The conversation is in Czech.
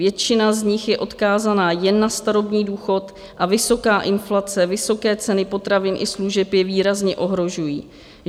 Většina z nich je odkázaná jen na starobní důchod a vysoká inflace, vysoké ceny potravin i služeb je výrazně ohrožují.